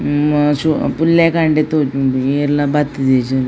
ಹ್ಮ್ ಹ್ಮ್ ಪುಲ್ಯ ಕಾಂಡೆ ತೋಜುಂಡು ಏರ್ಲ ಬತ್ತಿದಿಜೆರ್.